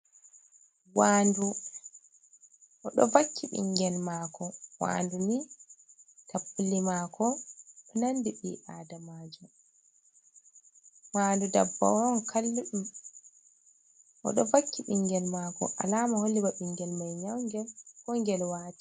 Waandu, o ɗo wakki binngel maako, waandu ni tappule maako nanbi ɓii aadamajo waandu dabbawa on, o ɗo vakki ɓinngel maako alaama holli ba binngel mai nyawnge koo ngel waati.